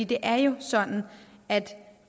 det er jo sådan at